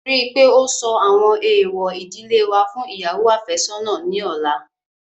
Rí i pé ó sọ àwọn èèwọ̀ ìdílé wa fún ìyàwó àfẹ́sọ́nà ní ọ̀la